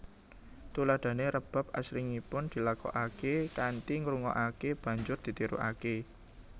Tuladhané rebab asringipun dilakokaké kanthi ngrungokaké banjur ditirukaké